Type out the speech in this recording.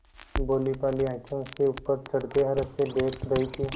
भोलीभाली आँखें उसे ऊपर चढ़ते हर्ष से देख रही थीं